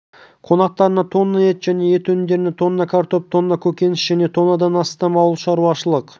қонақтарына тонна ет және ет өнімдері тонна картоп тонна көкөніс және тоннадан астам ауыл шаруашылық